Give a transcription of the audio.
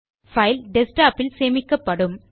file desktop இல் சேமிக்கப்படும்